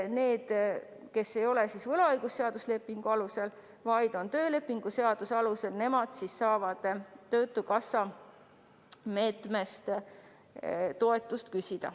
Need, kes ei tööta võlaõigusliku lepingu alusel, vaid töölepingu alusel, saavad töötukassa meetmest toetust küsida.